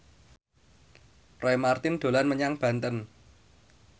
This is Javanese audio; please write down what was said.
Roy Marten dolan menyang Banten